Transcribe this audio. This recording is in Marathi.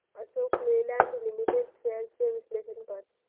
अशोक लेलँड लिमिटेड शेअर्स चे विश्लेषण कर